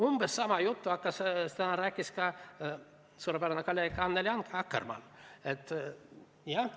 Umbes sama juttu rääkis täna ka suurepärane kolleeg Annely Akkermann.